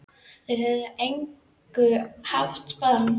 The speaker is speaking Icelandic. Þeir höfðu að engu haft bann